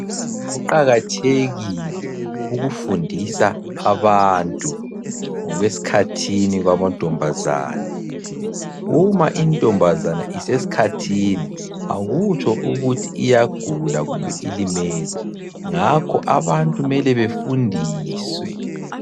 Kuqakathekile ukufundisa abantu, ngokwesikhathini kwamantombazana. Uma intombazana isesikhathini akutsho ukuthi iyagula kumbe ilimele, ngakho abantu mele befundiswe.